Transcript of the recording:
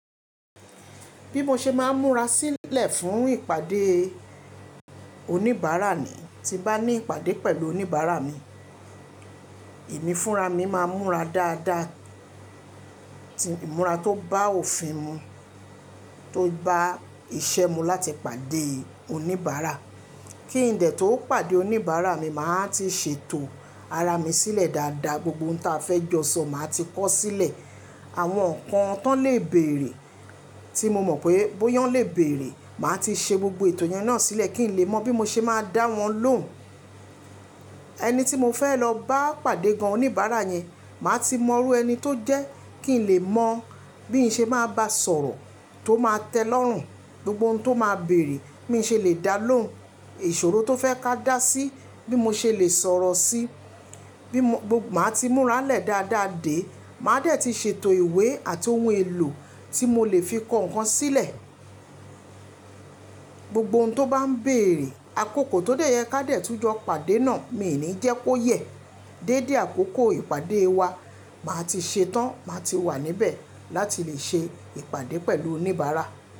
Bí mo ṣe máa ń múra sílẹ̀ fún ìpàdé oníbàárà ni, tí bá ní ìpàdé pẹ̀lú oníbàárà mi, emi fúnra mi máa ń múra dáadáa, ti ìmúra tó bá òfin mu, tó bá iṣẹ́ mu láti pàdé oníbàárà. Kí ìdẹ̀ tó pàdé oníbàárà mi, màá ti ṣètò ara mi sílẹ̀ dáadáa, gbogbo ohun tí a fẹ́ jọ sọ màá ti kọ sílẹ̀. Àwọn nǹkan tán lè bèèrè tí mo mọ̀ pé bóyán lè bèèrè, màá ti ṣe gbogbo ìtọ́jú náà sílẹ̀ kí n lè mọ bí mo ṣe máa dá wọn lóhùn. Ẹni tí mo fẹ́ lọ bá pàdé gan oníbàárà yẹn, màá ti mọ irú ẹni tó jẹ́ kí n lè mọ bí n ṣe máa bá sọ̀rọ̀ tó máa tẹ́ ẹlọ́rùn, gbogbo ohun tó máa bèèrè bí mo ṣe lè dá lóhùn, ìṣòro tó fẹ́ ká dá sí bí mo ṣe lè sọ̀rọ̀ sí, bí mo, gbogbo màá ti múra lẹ̀ dáadáa dé, màá dẹ̀ ti ṣètò ìwé àti ohun èlò tí mo lè fi kọ ǹkan sílẹ̀. Gbogbo ohun tó bá ń bèèrè, àkókò tó dẹ̀ yẹ ká dẹ̀ tún jọ pàdé náà, mi ò ní jẹ́ kó yẹ. Déédé àkókò ìpàdé wa, màá ti ṣetán, màá ti wà níbẹ̀ láti lè ṣe ìpàdé pẹ̀lú oníbàárà.